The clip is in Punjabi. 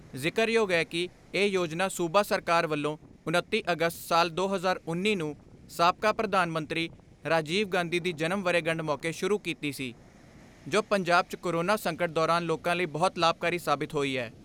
ਜ਼ਿਕਰਯੋਗ ਏ ਕਿ ਇਹ ਯੋਜਨਾ ਸੂਬਾ ਸਰਕਾਰ ਵੱਲੋਂ ਉਨੱਤੀ ਅਗਸਤ ਸਾਲ ਦੋ ਹਜ਼ਾਰ ਉੱਨੀ ਨੂੰ ਸਾਬਕਾ ਪ੍ਰਧਾਨ ਮੰਤਰੀ ਰਾਜੀਵ ਗਾਂਧੀ ਦੀ ਜਨਮ ਵਰ੍ਹੇਗੰਢ ਮੌਕੇ ਸ਼ੁਰੂ ਕੀਤੀ ਸੀ, ਜੋ ਪੰਜਾਬ 'ਚ ਕੋਰੋਨਾ ਸੰਕਟ ਦੌਰਾਨ ਲੋਕਾਂ ਲਈ ਬਹੁਤ ਲਾਭਕਾਰੀ ਸਾਬਿਤ ਹੋਈ ਐ।